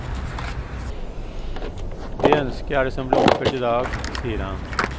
Det ønsket er det som blir oppfylt i dag, sier han.